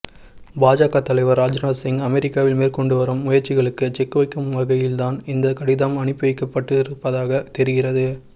பாஜக தலைவர் ராஜ்நாத்சிங் அமெரிக்காவில் மேற்கொண்டு வரும் முயற்சிகளுக்கு செக் வைக்கும் வகையில்தான் இந்த கடிதம் அனுப்பி வைக்கப்பட்டிருப்பதாக தெரிகிறது